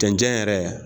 Cɛncɛn yɛrɛ